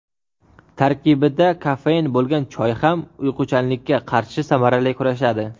Tarkibida kofein bo‘lgan choy ham uyquchanlikka qarshi samarali kurashadi.